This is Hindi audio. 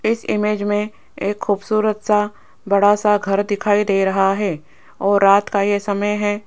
इस इमेज में एक खूबसूरत सा बड़ा सा घर दिखाई दे रहा है और रात का ये समय है।